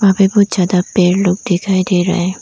हमें बहोत ज्यादा पेड़ लोग दिखाई दे रहा है।